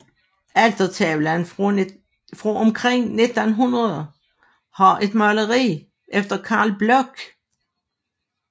Altertavlen fra omkring 1900 har et maleri efter Carl Bloch